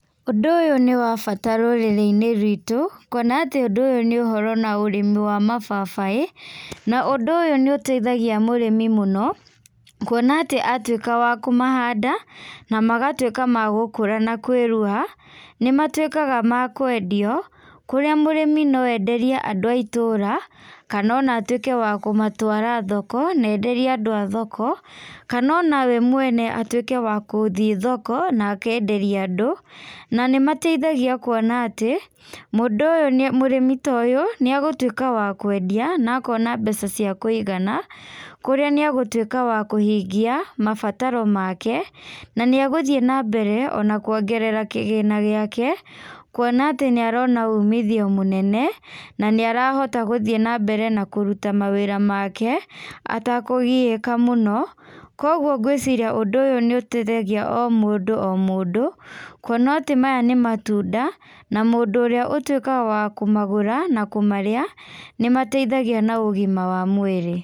Ũndũ ũyũ nĩ wa bata rũrĩrĩ-inĩ rwitu ,kuona atĩ ũndũ ũyũ nĩ ũhoro na ũrĩmi wa mababaĩ, na ũndũ ũyũ nĩ ũteithagia mũrĩmi mũno, kuona atĩ atuĩka wa kũhanda na magatuĩka ma gũkũra na kwĩruha, nĩ matuĩkaga makwendio kũrĩa mũrĩmi no enderie andũ a itũra, kana no atuĩke wa kũmatwara thoko ,na enderie andũ a thoko, kana ona we mwene atuĩke wagũthĩe thoko na akenderie andũ, na nĩmateithagia kuona atĩ, mũndũ ũyũ mũrĩmi ta ũyũ nĩ agũtuika wa kwendia na akona mbeca cia kũigana kũrĩa nĩ agũtuĩka wa kũhingia mabataro make, na nĩagũthie na mbere ona kũongerera kĩgĩna gĩake, kuona atĩ nĩ arona wumithio mũnene, na nĩ arahotha gũthĩe na mbere na kũruta mawĩra make, atakũgiĩka mũno, kwogwo ngwĩciria ũndũ ũyũ nĩ ũteithagia omũndũ omũndũ kuona atĩ maya nĩ matunda na mũndũ ũrĩa ũtuĩkaga wa kũmagũra na kũmarĩa nĩ mateithagia na ũgima wa mwĩrĩ.